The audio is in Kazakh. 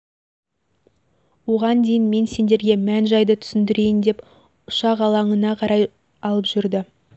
оған дейін мен сіздерге мән-жайды түсіндірейін деп ұшақ алаңына қарай алып жүрді